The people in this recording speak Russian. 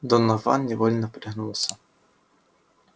донован невольно пригнулся